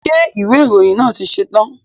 Ṣé ìwé ìròyìn náà ti ṣetán?